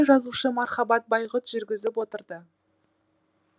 жазушы мархабат байғұт жүргізіп отырды